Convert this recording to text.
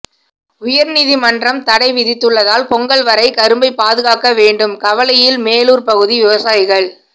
உயர்நீதிமன்றம் தடை விதித்துள்ளதால் பொங்கல் வரை கரும்பை பாதுகாக்க வேண்டும் கவலையில் மேலூர் பகுதி விவசாயிகள்